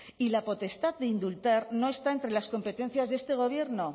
y la potestad de indultar no está entre las competencias de este gobierno